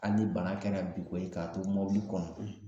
Hali ni bana kɛra bin ko ye, k'a to kɔnɔ